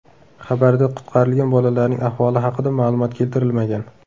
Xabarda qutqarilgan bolalarning ahvoli haqida ma’lumot keltirilmagan.